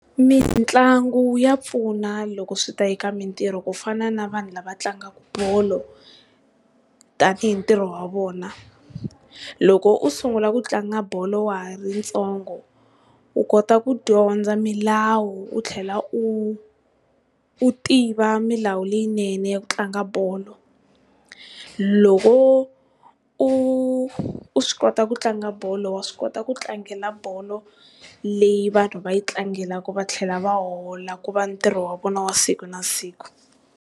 Mitlangu ya pfuna loko swi ta eka mintirho ku fana na vanhu lava tlangaka bolo tani hi ntirho wa vona. Loko u sungula ku tlanga bolo wa ha ri ntsongo u kota ku dyondza milawu u tlhela u, u tiva milawu leyinene ya ku tlanga bolo. Loko u u swi kota ku tlanga bolo wa swi kota ku tlangela bolo leyi vanhu va yi tlangelaka va tlhela va hola ku va ntirho wa vona wa siku na siku.